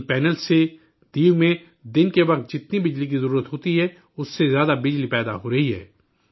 ان panels سے، دیو میں دن کے وقت جتنی بجلی کی ضرورت ہوتی ہے، اس سے زیادہ بجلی پیدا ہو رہی ہے